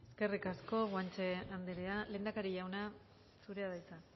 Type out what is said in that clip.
eskerrik asko guanche andrea lehendakari jauna zurea da hitza